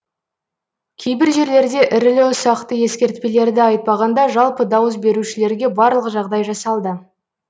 кейбір жерлерде ірілі ұсақты ескертпелерді айтпағанда жалпы дауыс берушілерге барлық жағдай жасалды